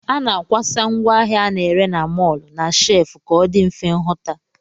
A na-akwasa ngwaahịa a na-ere na mọl na shef ka ọ dị mfe nhụta